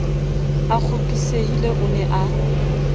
a kgopisehile o ne a